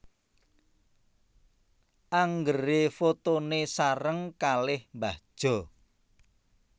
Anggere fotone sareng kalih mbah Jo